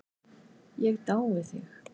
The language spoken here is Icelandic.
Ég dái þig.